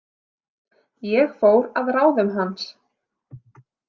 Ég fór að ráðum hans.